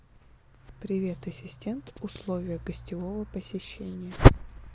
привет ассистент условия гостевого посещения